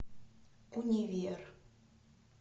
универ